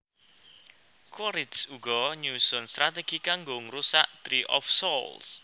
Quaricth uga nyusun stratégi kanggo ngrusak Tree of Souls